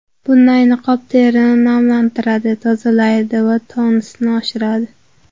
Bunday niqob terini namlantiradi, tozalaydi va tonusni oshiradi.